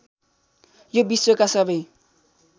यो विश्वका सबै